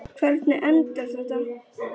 Hvernig endar þetta?